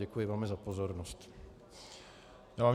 Děkuji velmi za pozornost.